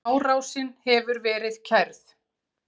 Árásin hefur verið kærð.